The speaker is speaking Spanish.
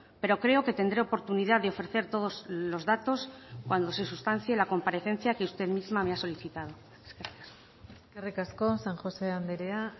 pero creo que tendré oportunidad de ofrecer todos los datos cuando se sustancie la comparecencia que usted misma me ha solicitado gracias eskerrik asko san josé andrea